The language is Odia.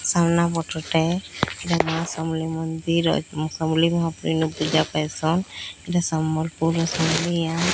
ସାମ୍ନା ପଟଟେ ଏଟା ମା ସମଲେଇ ମନ୍ଦିର ଅ ମା ସମଲେଇ ମହାପୁର୍ ଇନ ପୂଜା ପାଏସନ୍ ଏଟା ସମ୍ବଲପୁରର ସମଲିଆ।